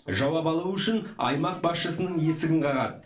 жауап алу үшін аймақ басшысының есігін қағады